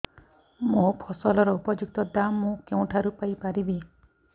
ମୋ ଫସଲର ଉପଯୁକ୍ତ ଦାମ୍ ମୁଁ କେଉଁଠାରୁ ପାଇ ପାରିବି